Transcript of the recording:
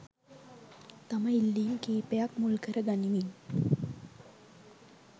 තම ඉල්ලීම් කීපයක් මුල් කරගනිමින්